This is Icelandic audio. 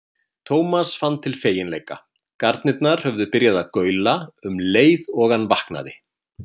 Thomas fann til feginleika, garnirnar höfðu byrjað að gaula um leið og hann vaknaði.